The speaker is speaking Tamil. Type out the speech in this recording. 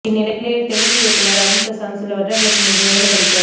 இந்நிலையில் தெலுங்கு இயக்குனர் அருண் பிரசாத் சில வருடங்களுக்கு முன்பு மேலும் படிக்க